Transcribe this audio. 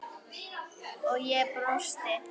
og ég brosti.